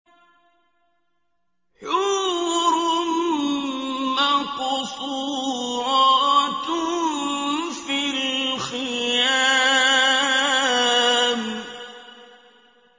حُورٌ مَّقْصُورَاتٌ فِي الْخِيَامِ